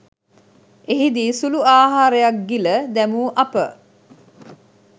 එහිදී සුළු ආහරයක් ගිල දැමු අප